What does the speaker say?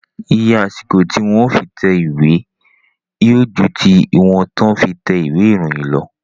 Iye àsìkò tí wọn yóò fi tẹ ìwé yóò ju tí wọn yóò fi tẹ ìwé ìròyìn lọ